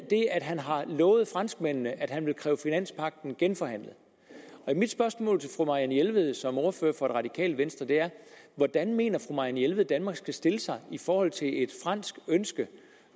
at han har lovet franskmændene at han vil kræve finanspagten genforhandlet mit spørgsmål til fru marianne jelved som ordfører for det radikale venstre er hvordan mener fru marianne jelved danmark skal stille sig i forhold til et fransk ønske